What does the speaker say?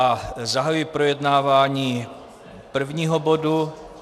A zahajuji projednávání prvního bodu...